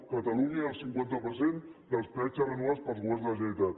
a catalunya hi ha el cinquanta per cent dels peatges renovats pels governs de la generalitat